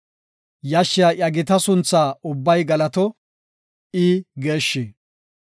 Yashshiya iya gita sunthaa ubbay galato; I geeshshi.